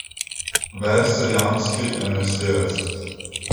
Verz je jambski enajsterec.